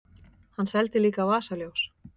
Hann seldi líka vasaljós.